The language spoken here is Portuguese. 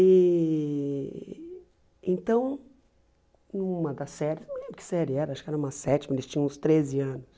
E então, numa da série, não lembro que série era, acho que era uma sétima, eles tinham uns treze anos.